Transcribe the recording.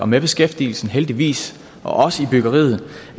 med beskæftigelsen heldigvis og også i byggeriet